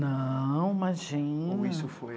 Não, imagina... Ou isso foi...